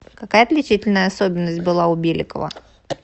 какая отличительная особенность была у беликова